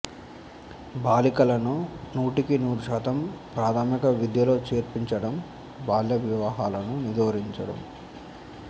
బాలికలను నూటికి నూరు శాతం ప్రాథమిక విద్యలో చేర్పించడం బాల్య వివాహాలను నిరోధించడం